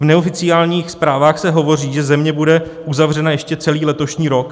V neoficiálních zprávách se hovoří, že země bude uzavřena ještě celý letošní rok.